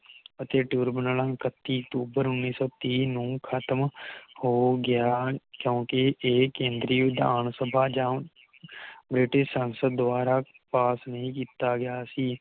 ਅਤੇ ਟਿਊਰਬਨਲ ਐਕਤੀ ਅਕਤੂਬਰ ਉਨ੍ਹੀ ਸੌ ਤੀਹ ਨੂੰ ਖ਼ਤਮ ਹੋ ਗਿਆ ਕਿਉਕਿ ਇਹ ਕੇਂਦਰੀ ਵਿਧਾਨਸਭਾ ਜਾ British ਸੰਸਦ ਦਵਾਰਾ ਪਾਸ ਨਹੀਂ ਕੀਤਾ ਗਿਆ ਸੀ